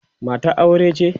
matar aure ce?